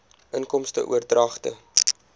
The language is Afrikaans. inkomste oordragte